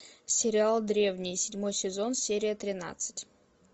сериал древние седьмой сезон серия тринадцать